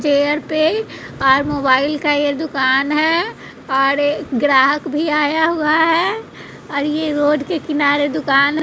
chair पे और mobile का ये दुकान है और एक ग्राहक भी आया हुआ है और ये रोड के किनारे दुकान --